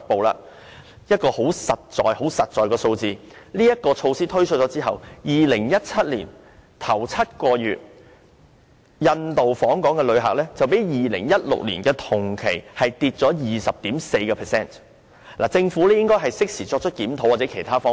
有一個很實在的數字，就是在措施推出後 ，2017 年首7個月的印度訪港旅客較2016年的同期下跌了 20.4%， 政府應該適時作出檢討或考慮其他方法。